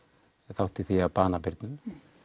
þátt í því að bana Birnu